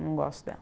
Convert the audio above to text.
Não gosto dela.